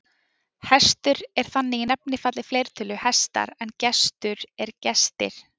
Hestur er þannig í nefnifalli fleirtölu hestar en gestur er gestir.